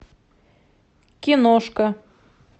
киношка